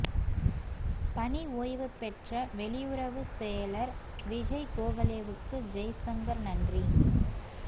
பணி ஓய்வு பெற்ற வெளியுறவுச் செயலா் விஜய் கோகலேவுக்கு ஜெய்சங்கா் நன்றி